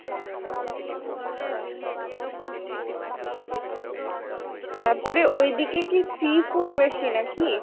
তাপরে ওইদিকে কি sea food বেশি নাকি ?